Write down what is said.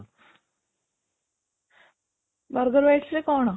burger bites ରେ କ'ଣ?